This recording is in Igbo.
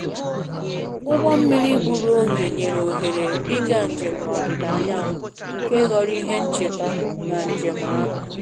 ụgbọ mmiri gburu oge nyere ohere ịga njem n`ọdịda anyanwụ nke ghọrọ ihe ncheta na njem ahu